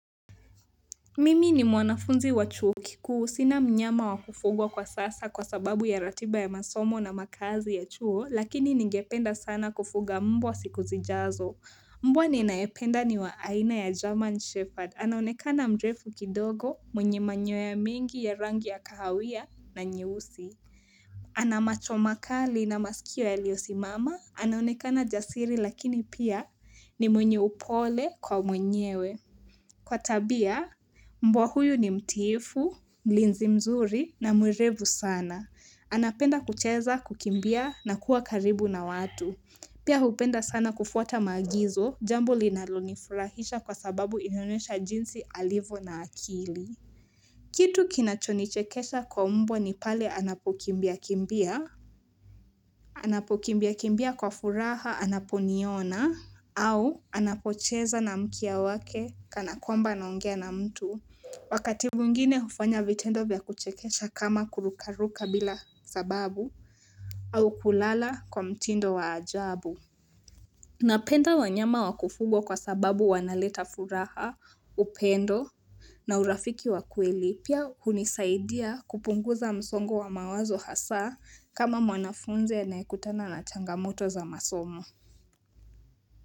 Mimi ni mwanafunzi wa chuo kikuu sina mnyama wakufugwa kwa sasa kwa sababu ya ratiba ya masomo na makazi ya chuo lakini ningependa sana kufuga mbwa siku zijazo mbwa ninaependa ni wa aina ya German Shepherd anaonekana mrefu kidogo mwenye manyoya mingi ya rangi ya kahawia na nyehusi ana macho makali na masikio yaliosimama anaonekana jasiri lakini pia ni mwenye upole kwa mwenyewe, kwa tabia, mbwa huyu ni mtiifu, mlinzi mzuri na mwerevu sana. Anapenda kucheza, kukimbia na kuwa karibu na watu. Pia hupenda sana kufuata maagizo, jambo linalonifurahisha kwa sababu inaonyesha jinsi alivyo na akili. Kitu kinachonichekesha kwa mbwa ni pale anapokimbia kimbia, anapokimbia kimbia kwa furaha anaponiona, au anapocheza na mkia wake kanakwamba anaongea na mtu Wakati mwingine hufanya vitendo vya kuchekecha kama kurukaruka bila sababu au kulala kwa mtindo wa ajabu Napenda wanyama wakufugwa kwa sababu wanaleta furaha, upendo na urafiki wa kweli pia hunisaidia kupunguza msongo wa mawazo hasa kama wanafunzi anayekutana na changamoto za masomo.